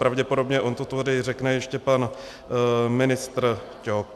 Pravděpodobně on to tady řekne ještě pan ministr Ťok.